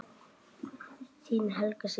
Þín Helga systir.